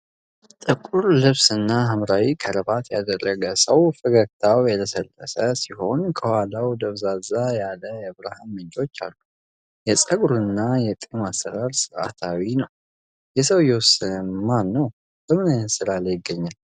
ጥቁር ልብስና ሐምራዊ ክራባት ያደረገ ሰው ፈገግታው የለሰለሰ ሲሆን ከኋላው ደብዘዝ ያለ የብርሃን ምንጮች አሉ። የፀጉሩና የጢሙ አሠራር ሥርዓታማ ነው። የሰውዬው ስም ማን ነው? በምን ዓይነት ስፍራ ላይ ይገኛል?